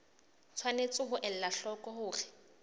tshwanetse ho ela hloko hore